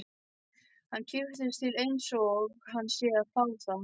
Hann kippist til einsog hann sé að fá það.